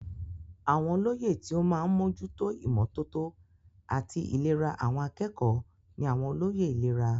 Àwọn olóyè tí ó máa ń mójú tó ìmọ́tótó àti ìlera àwọn akẹ́kọ̀ọ́ ní àwọn olóyè ìlera.